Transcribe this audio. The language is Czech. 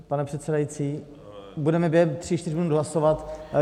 Pane předsedající, budeme během tří čtyř minut hlasovat.